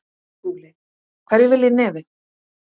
SKÚLI: Hverjir vilja í nefið.